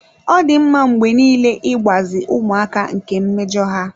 Ọ dị mma mgbe niile ịgbazi ụmụaka nke mmejọ ha.